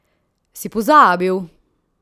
Si pozabil?